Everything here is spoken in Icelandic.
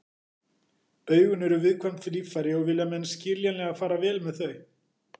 Augun eru viðkvæm líffæri og vilja menn skiljanlega fara vel með þau.